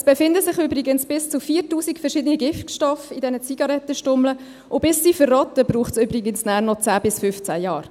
In den Zigarettenstummeln befinden sich übrigens bis zu 4000 verschiedene Giftstoffe, und bis sie verrotten, dauert es nachher übrigens noch 10 bis 15 Jahre.